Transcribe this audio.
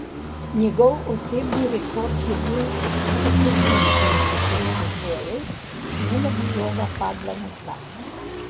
Njegov osebni rekord je bil oseminšestdeset odbojev, ne da bi žoga padla na tla.